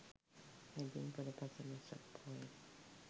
මැදින් පුර පසළොස්වක පෝය